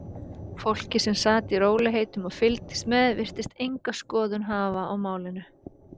Fólkið sem sat í rólegheitum og fylgdist með virtist enga skoðun hafa á málinu.